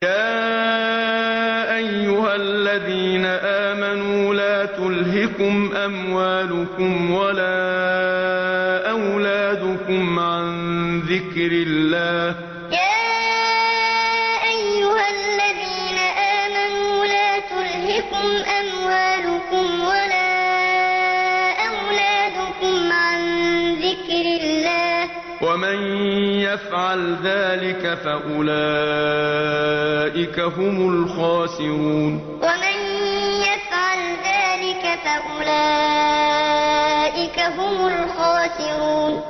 يَا أَيُّهَا الَّذِينَ آمَنُوا لَا تُلْهِكُمْ أَمْوَالُكُمْ وَلَا أَوْلَادُكُمْ عَن ذِكْرِ اللَّهِ ۚ وَمَن يَفْعَلْ ذَٰلِكَ فَأُولَٰئِكَ هُمُ الْخَاسِرُونَ يَا أَيُّهَا الَّذِينَ آمَنُوا لَا تُلْهِكُمْ أَمْوَالُكُمْ وَلَا أَوْلَادُكُمْ عَن ذِكْرِ اللَّهِ ۚ وَمَن يَفْعَلْ ذَٰلِكَ فَأُولَٰئِكَ هُمُ الْخَاسِرُونَ